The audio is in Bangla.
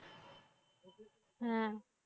হ্যাঁ।